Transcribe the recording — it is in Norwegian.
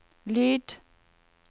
lyd